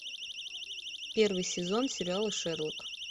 первый сезон сериала шерлок